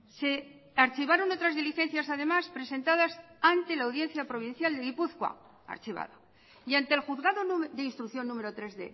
se archivaron otras diligencias además presentadas ante la audiencia provincial de gipuzkoa archivada y ante el juzgado de instrucción número tres